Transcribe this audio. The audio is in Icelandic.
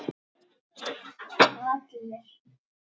Og allir?